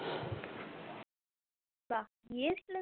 বাহঃ গিয়ে এশলে